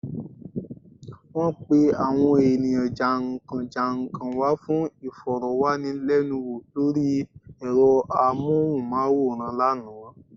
Wọ́n pe àwọn ènìyàn jà n kán jà n kán wa fun ìfọ̀rọ̀wánilẹ́nuwò lórí ẹ̀rọ amóhùnmáwòràn lánàá